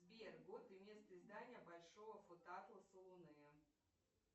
сбер год и место издания большого фотоатласа луны